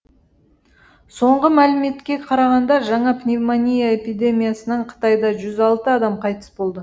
соңғы мәліметке қарағанда жаңа пневмония эпидемиясынан қытайда жүз алты адам қайтыс болды